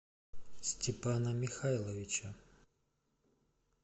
степана михайловича